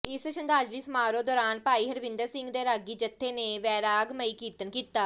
ਇਸ ਸ਼ਰਧਾਂਜਲੀ ਸਮਾਰੋਹ ਦੌਰਾਨ ਭਾਈ ਹਰਵਿੰਦਰ ਸਿੰਘ ਦੇ ਰਾਗੀ ਜਥੇ ਨੇ ਵੈਰਾਗਮਈ ਕੀਰਤਨ ਕੀਤਾ